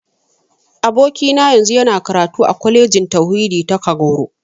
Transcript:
Abokina yanzu yana karatu a Kwalejin Tauhidi ta Kagoro.